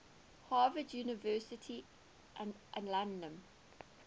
harvard university alumni